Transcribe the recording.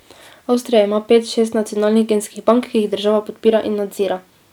Avstrija ima pet, šest nacionalnih genskih bank, ki jih država podpira in nadzira.